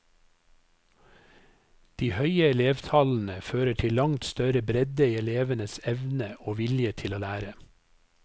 De høye elevtallene fører til langt større bredde i elevenes evne og vilje til å lære.